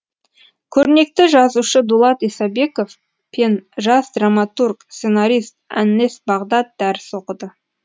көрнекті жазушы дулат исабеков пен жас драматург сценарист әннес бағдат дәріс оқыды